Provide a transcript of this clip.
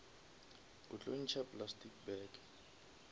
o tlo ntšha plastic bag